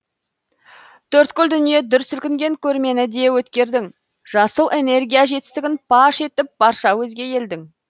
төрткүл дүние дүр сілкінген көрмені де өткердің жасыл энергия жетістігін паш етіп барша өзге елдің